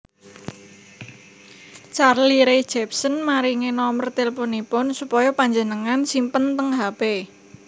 Carly Rae Jepsen maringi nomer tilpunipun supaya panjenengan simpen teng hp